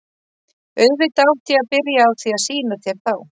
Auðvitað átti ég að byrja á því að sýna þér þá.